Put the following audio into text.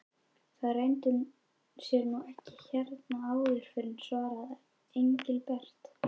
Það leyndi sér nú ekki hérna áður fyrr svaraði Engilbert.